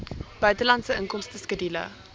buitelandse inkomste skedule